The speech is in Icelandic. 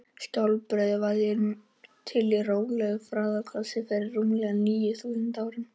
skjaldbreiður varð til í rólegu flæðigosi fyrir rúmlega níu þúsund árum